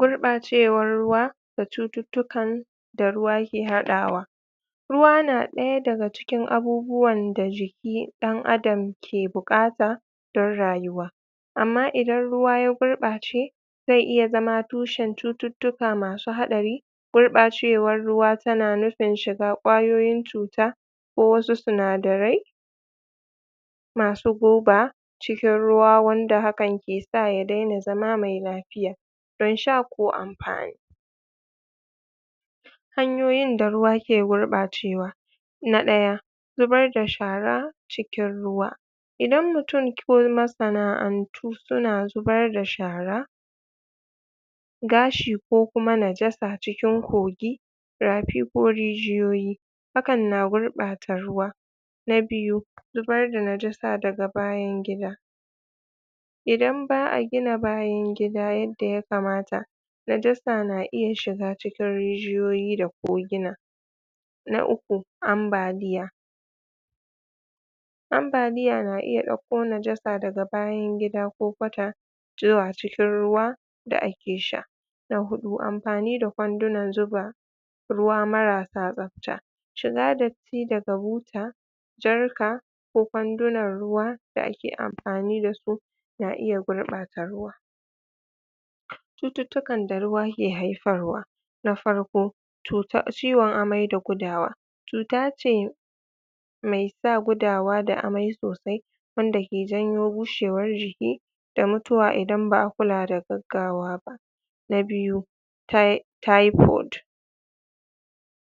Gurɓacewar ruwa da cututtukan da ruwa yake haɗawa ruwa na ɗaya daga cikin abubuwan da jiki ɗan adam ke buƙata don rayuwa amma idan ruwa ya gurɓace zai iya zama tushen cututtuka masu haɗari gurɓacewan ruwa tana nufi shiga ƙwayoyin cuta ko wasu sinadarai masu guba cikin ruwa wanda hakan ke sa ya daina zama mai lafiya don sha ko amfani hanyoyin da ruwa ke gurɓacewa na ɗaya; zubar da shara cikin ruwa idan mutun ko masana'antu suna zubar da shara gashi ko kuma najasa cikin kogi rafi ko rijiyoyi hakan na gurɓata ruwa na biyu; zubar da najasa daga bayan gida idan ba'a gina bayan gida yadda ya kamata najasa na iya shiga cikin rijiyoyi da kogina na uku; ambaliya ambaliya na iya ɗau ko najasa daga bayan gida ko kwata zuwa cikin ruwa da ake sha na huɗu; amfani da kwandunan zuba ruwa marasa tsafta shiga dat ti daga buta jarka ko kwandunan ruwa da ake amfani dasu na iya gurɓata ruwa cututtukan da ruwa ke haifarwa na farko; cuta ciwon amai da gudawa cuta ce mai sa gudawa da amai sosai wanda ke janyo bushewar jiki da mutuwa idan ba'a kula da gaggawa ba na biyu; tai taifot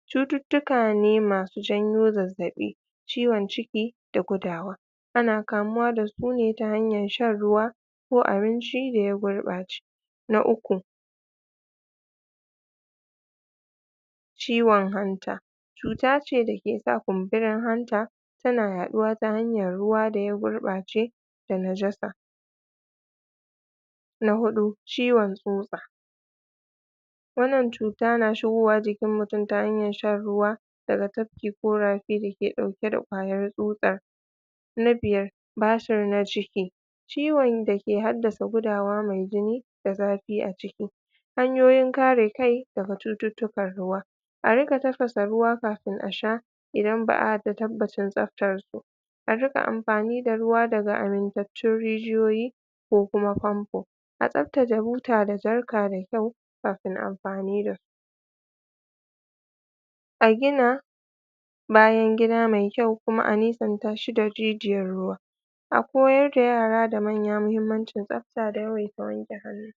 cututtuka ne masu janyo zazzaɓi ciwon ciki da gudawa ana kamuwa dasu ne ta hanyar shan ruwa ko abinci da ya gurɓace na uku; ciwon hanta cuta ce dake sa kunburin hanta suna yaɗuwa ta hanyan ruwa da ya gurɓace da najasa na huɗu; ciwon tsutsa wannan cuta na shigowa jikin mutun ta hanyan shan ruwa daga tafki ko rafi dake ɗauke da ƙwayar tsutsar na biyar; basir na ciki ciwon dake haddasa gudawa mai jini da zafi a ciki hanyoyin kare kai daga cututtukan ruwa a riƙa tafasa ruwa kafin a sha idan ba'a da tabbacin tsaftarsu a riƙa amfani da ruwa daga amintattun rijiyoyi ko kuma famfo a tsaftce buta da jarka da kyau kafin amfani da a gina bayan gida mai kyau kuma a nisan ta shi da rijiyar ruwa a koyar da yara da manya muhimmancin tsaf ta da yawaita wanke hannu.